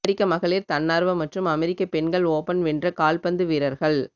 அமெரிக்க மகளிர் தன்னார்வ மற்றும் அமெரிக்க பெண்கள் ஓபன் வென்ற கால்பந்து வீரர்கள்